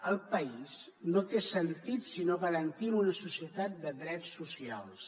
el país no té sentit si no garantim una societat de drets socials